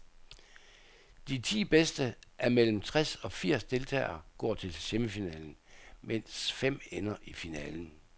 De ti bedste af mellem tres og firs deltagere går til semifinalen, mens fem ender i finalen.